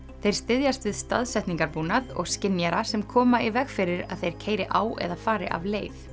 þeir styðjast við og skynjara sem koma í veg fyrir að þeir keyri á eða fari af leið